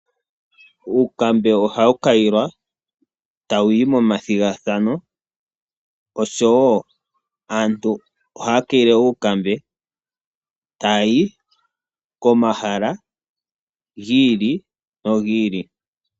Uukambe ohawu kayilwa tawuyi momathigathano ,oshowo aantu ohaya kayile uukambe ta yayi komahala gi ili nogi ili.